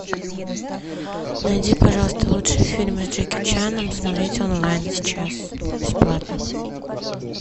найди пожалуйста лучшие фильмы с джеки чаном смотреть онлайн сейчас бесплатно